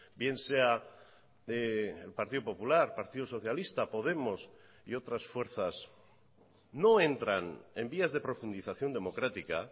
bien sea el partido popular partido socialista podemos y otras fuerzas no entran en vías de profundización democrática